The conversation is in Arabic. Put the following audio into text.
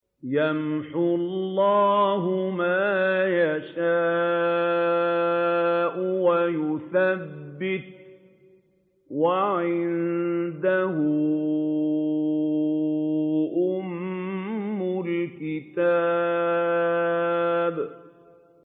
يَمْحُو اللَّهُ مَا يَشَاءُ وَيُثْبِتُ ۖ وَعِندَهُ أُمُّ الْكِتَابِ